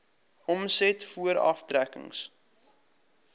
omset voor aftrekkings